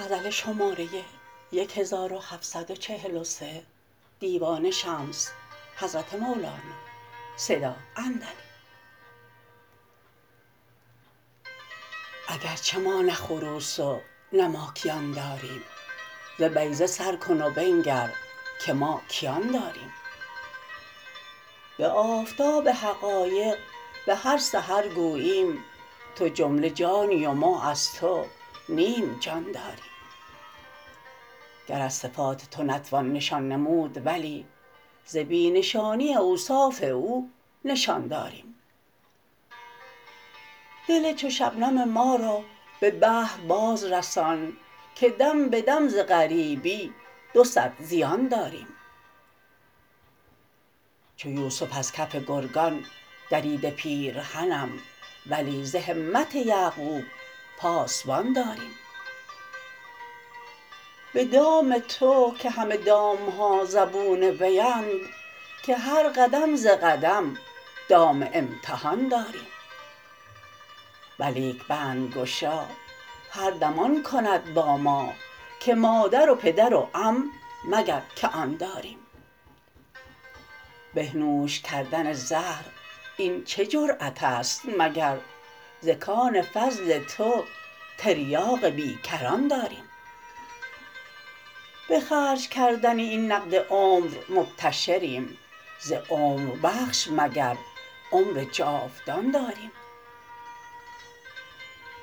اگر چه ما نه خروس و نه ماکیان داریم ز بیضه سر کن و بنگر که ما کیان داریم به آفتاب حقایق به هر سحر گوییم تو جمله جانی و ما از تو نیم جان داریم گر از صفات تو نتوان نشان نمود ولی ز بی نشانی اوصاف او نشان داریم دل چو شبنم ما را به بحر بازرسان که دم به دم ز غریبی دو صد زیان داریم چو یوسف از کف گرگان دریده پیرهنم ولی ز همت یعقوب پاسبان داریم به دام تو که همه دام ها زبون ویند که هر قدم ز قدم دام امتحان داریم ولیک بندگشا هر دم آن کند با ما که مادر و پدر و عم مگر که آن داریم بنوش کردن زهر این چه جرات است مگر ز کان فضل تو تریاق بی کران داریم به خرج کردن این نقد عمر مبتشریم ز عمربخش مگر عمر جاودان داریم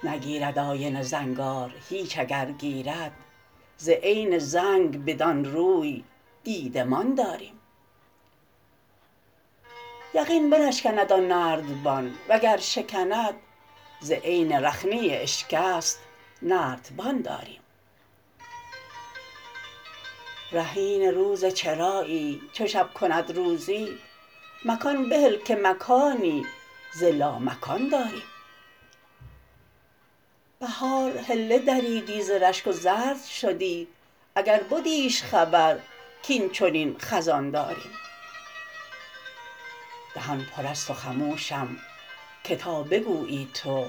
نگیرد آینه زنگار هیچ اگر گیرد ز عین زنگ بدان روی دیدمان داریم یقین بنشکند آن نردبان وگر شکند ز عین رخنه اشکست نردبان داریم رهین روز چرایی چو شب کند روزی مکان بهل که مکانی ز لامکان داریم بهار حله دریدی ز رشک و زرد شدی اگر بدیش خبر کاین چنین خزان داریم دهان پر است و خموشم که تا بگویی تو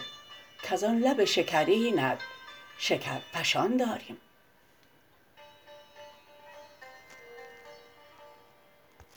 کز آن لب شکرینت شکرفشان داریم